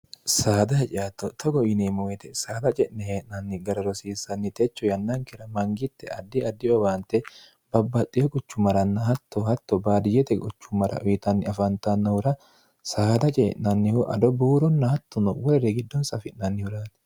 saada hacaatto togo yineemmoete saada ce'ne hee'nanni gara rosiissanni techo yannankira mangitte addi addiowaante babbaxxiyo qochu maranna hatto hatto baadiyyete qochu mara uyitanni afaantannohura saada cee'nannihu ado buuronna hattuno worire giddoonsa afi'nannihuraati